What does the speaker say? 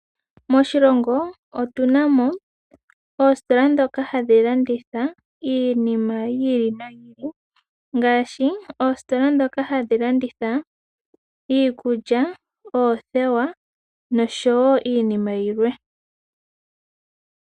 Moshilongo otunamo oositola ndhoka hadhi landitha iinima yi ili noyi ili. Ngaashi oositola ndhoka hadhi landitha iikulya, oothewa, noshowo iinima yilwe.